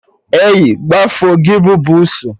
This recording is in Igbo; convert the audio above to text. Ei, gbafuo gị bụ bussu!